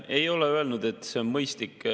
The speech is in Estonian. Ma ei ole öelnud, et see on mõistlik.